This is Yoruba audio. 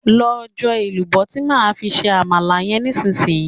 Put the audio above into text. Lọ jọ èlùbọ́ tí máa fi ṣe Àmàlà yẹn nísinsìnyí!